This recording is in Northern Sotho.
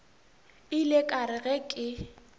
ile ka re ge ke